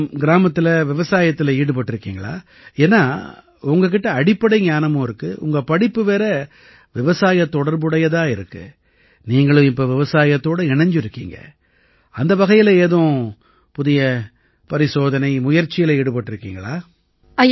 அப்புறம் கிராமத்தில விவசாயத்தில ஈடுபட்டிருக்கீங்களா ஏன்னா உங்ககிட்ட அடிப்படை ஞானமும் இருக்கு உங்க படிப்பு வேற விவசாயத் தொடர்பு உடையதா இருக்கு நீங்களும் இப்ப விவசாயத்தோட இணைஞ்சிருக்கீங்க அந்த வகையில ஏதும் புதிய பரிசோதனைமுயற்சியில ஈடுபட்டிருக்கீங்களா